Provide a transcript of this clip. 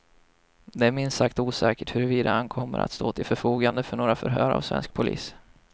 Det är minst sagt osäkert huruvida han kommer att stå till förfogande för några förhör av svensk polis.